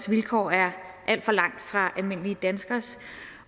vilkår er alt for langt fra almindelige danskeres